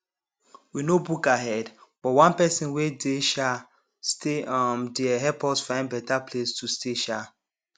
we no book ahead but one person wey dey um stay um dere help us find better place to stay um